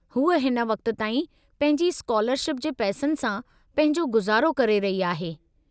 हूअ हिन वक़्त ताईं पंहिंजी स्कॉलरशिप जे पैसनि सां पंहिंजो गुज़ारो करे रही आहे।